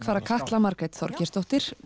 fara Katla Margrét Þorgeirsdóttir